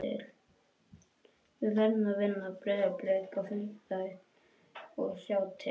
Við verðum að vinna Breiðablik á fimmtudaginn og sjá til.